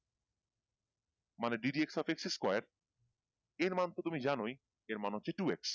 মানে D D X O X square এর মান তো তুমি জানোই এর মমান হচ্ছে two X